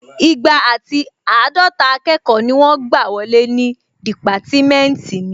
Igba àti àádọta akẹ́kọ̀ọ́ ni wọ́n gbà wọlé ní dìpátímẹ́ntì mi